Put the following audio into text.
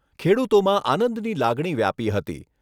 ખેડૂતોમાં આનંદની લાગણી વ્યાપી હતી.